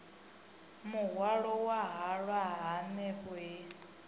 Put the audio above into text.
muhwalo wa halwa hanefho he